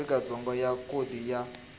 afrika dzonga ya khodi ya